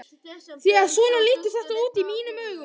Því að svona lítur þetta út í mínum augum.